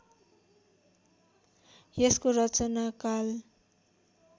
यसको रचना काल